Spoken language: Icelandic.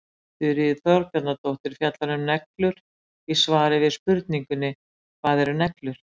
þuríður þorbjarnardóttir fjallar um neglur í svari við spurningunni hvað eru neglur